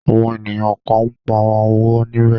Àwọn ènìyàn kan ń pa owó níbẹ̀.